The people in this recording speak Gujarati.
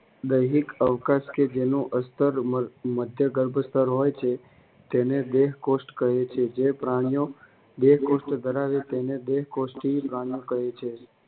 દૈહીક અવકાશ કે જેનું અસ્તર મધ્યગર્ભસ્તર હોય છે. તેને દેહકોષ્ઠ કહે છે. જે પ્રાણીઓ દેહકોષ્ઠ ધરાવે તેને દેહકોષ્ઠી પ્રાણીઓ કહે છે.